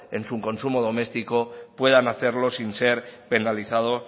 en su consumo doméstico puedan hacerlo sin ser penalizados